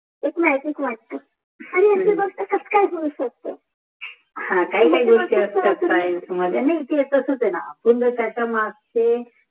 एक म्याजीक वाठते आणि फक्त सत्कार मानून सोध्तो ते असुदे न